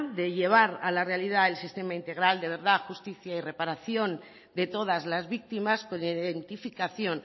de llevar a la realidad el sistema integral de verdad justicia y reparación de todas las víctimas con identificación